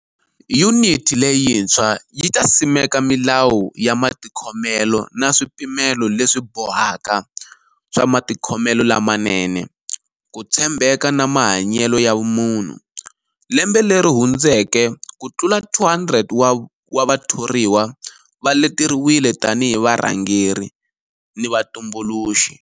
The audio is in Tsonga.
Yuniti leyintswa yi ta simeka milawu ya matikhomelo na swipimelo leswibohaka swa matikhomelo lamanene, ku tshembeka na mahanyelo ya vumunhu. Lembe leri hundzeke ku tlula 200 wa vathoriwa va leteriwile tanihi varhangeri ni vatumbuluxi.